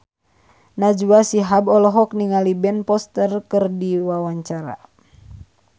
Najwa Shihab olohok ningali Ben Foster keur diwawancara